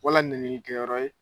Wala niɛni kɛyɔrɔ ye.